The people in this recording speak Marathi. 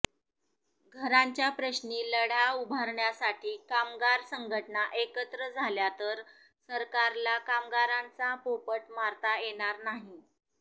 घरांच्या प्रश्नी लढा उभारण्यासाठी कामगार संघटना एकत्र झाल्या तर सरकारला कामगारांचा पोपट मारता येणार नाही